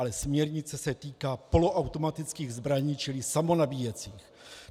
Ale směrnice se týká poloautomatických zbraní, čili samonabíjecích.